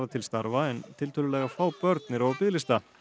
til starfa en tiltölulega fá börn eru á biðlista